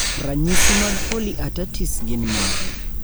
ranyisi mag polyartertis gin mage?